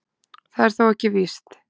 Það er þó ekki víst